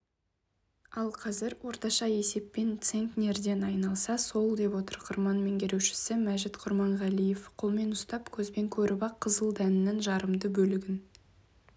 ал қазір орташа есеппен центнерден айналса сол деп отыр қырман меңгерушісі мәжит құрманғалиев қолмен ұстап көзбен көріп-ақ қызыл дәннің жарамды бөлігін